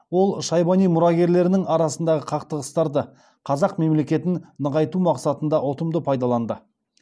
ол шайбани мұрагерлерінің арасындағы қақтығыстарды қазақ мемлекетін нығайту мақсатында ұтымды пайдаланды